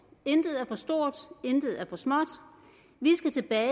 intet er for stort intet er for småt vi skal tilbage